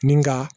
Ni ka